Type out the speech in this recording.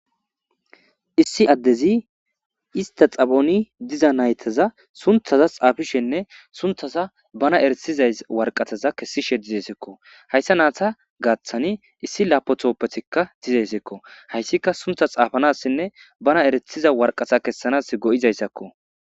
issi addezi ista xaphoni diza naytaza sunthaza xaafishenne sunthaza bana eretizay warqataza kessishe dizesekko hayssa naata gaaththani issi laapothooppetikka dizeyssekko hayssika suntha xaafanassinne bana eretiza warqata kessanas go7izayssakko